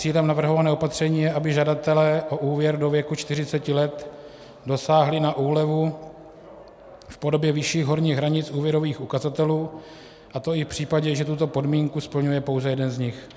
Cílem navrhovaného opatření je, aby žadatelé o úvěr do věku 40 let dosáhli na úlevu v podobě vyšších horních hranic úvěrových ukazatelů, a to i v případě, že tuto podmínku splňuje pouze jeden z nich.